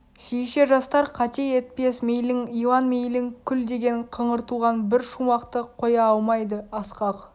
сүйісер жастар қате етпес мейлің илан мейлің күл деген қыңыр туған бір шумақты қоя алмайды асқақ